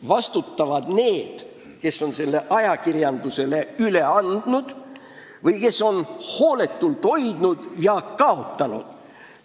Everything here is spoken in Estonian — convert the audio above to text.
Vastutavad need, kes on salajase paberi ajakirjandusele üle andnud või kes on seda hooletult hoidnud ja selle kaotanud.